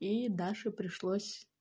и даше пришлось